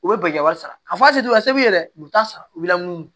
U bɛ bɛnkan wari sara yɛrɛ u t'a sara wula